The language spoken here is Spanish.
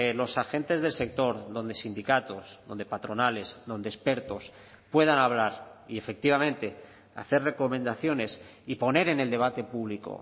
los agentes del sector donde sindicatos donde patronales donde expertos puedan hablar y efectivamente hacer recomendaciones y poner en el debate público